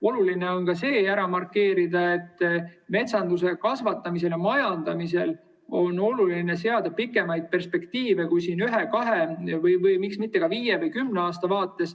Oluline on ka see ära markeerida, et metsa kasvatamisel ja majandamisel on oluline seada pikemaid perspektiive kui ühe-kahe või miks mitte ka viie või kümne aasta vaates.